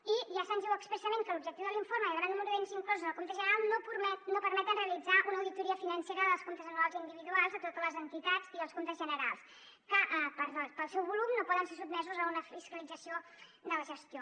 i ja se’ns diu expressament que l’objectiu de l’informe i el gran nombre d’ens inclosos al compte general no permeten realitzar una auditoria financera dels comptes anuals individuals a totes les entitats i als comptes generals que pel seu volum no poden ser sotmesos a una fiscalització de la gestió